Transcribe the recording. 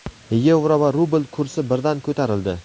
yevro va rubl kursi birdan ko‘tarildi.